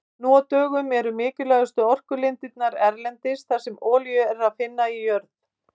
Nú á dögum eru mikilvægustu orkulindirnar erlendis þar sem olíu er að finna í jörð.